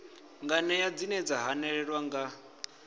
nganea dzine dza hanelelwa nga